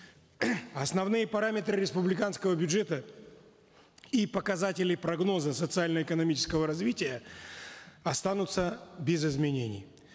основные параметры республиканского бюджета и показатели прогноза социально экономического развития останутся без изменений